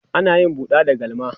ana yin buɗa da galma